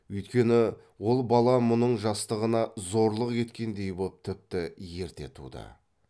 үйткені ол бала мұның жастығына зорлық еткендей боп тіпті ерте туды